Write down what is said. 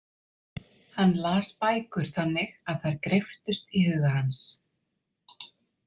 Hann las bækur þannig að þær greyptust í huga hans.